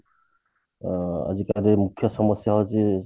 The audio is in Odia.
ଅ ଆଜିକାଲି ମୁଖ୍ୟ ସମସ୍ଯା ହଉଛି